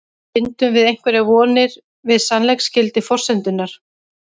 Bindum við einhverjar vonir við sannleiksgildi forsendunnar?